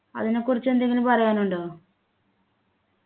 അതിനെക്കുറിച്ച് എന്തെങ്കിലും പറയാനുണ്ടോ